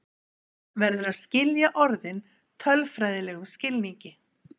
Hér verður að skilja orðin tölfræðilegum skilningi.